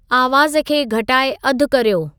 आवाज़ खे घटाए अधु कर्यो